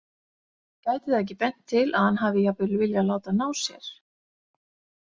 Gæti það ekki bent til að hann hafi jafnvel viljað láta ná sér?